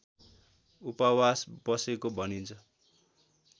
उपवास बसेको भनिन्छ